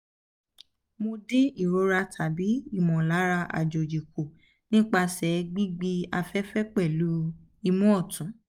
mo din irora tabi imolara ajoji ku nipase gbigbi afefe pelu imu otun